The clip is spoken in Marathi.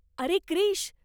अरे क्रिश!